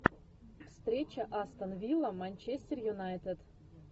встреча астон вилла манчестер юнайтед